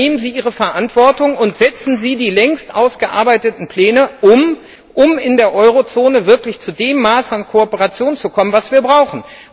Übernehmen Sie Ihre Verantwortung und setzen Sie die längst ausgearbeiteten Pläne um, um in der Eurozone wirklich zu dem Maß an Kooperation zu kommen, das wir brauchen.